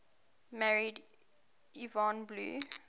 married yvonne blue